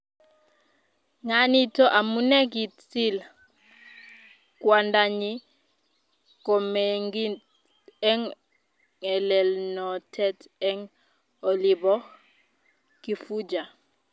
Nga nito amune kitil kwandanyi komengid eng ngelelnotet eng olibo Kifuja